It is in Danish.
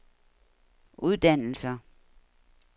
uddannelser